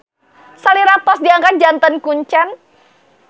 Salira tos diangkat janten kuncen.